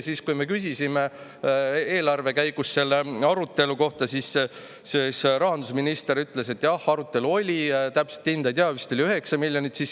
Ja kui me küsisime eelarve käigus selle arutelu kohta, siis rahandusminister ütles, et jah, arutelu oli, täpset hinda ei tea, vist oli 9 miljonit eurot.